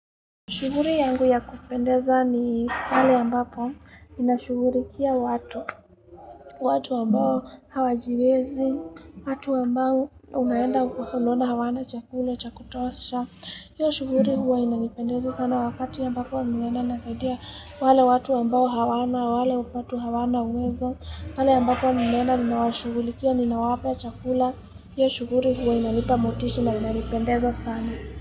Shughuri yangu ya kupendeza ni pale ambapo inashugurikia watu, watu ambao hawajiwezi, watu ambao unaenda unaona hawana chakula, cha kutosha. Hiyo shughuri huwa inanipendeza sana wakati ambapo nmeenda nasaidia wale watu ambao hawana, wale hupatwa hawana uwezo. Pale ambapo nmeenda ninawashugulikia ninawapa chakula, hiyo shughuri huwa inanipa motishu na inanipendeza sana.